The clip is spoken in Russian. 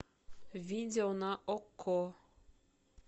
видео на окко